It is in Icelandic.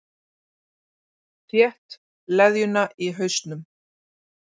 Þétt leðjuna í hausnum.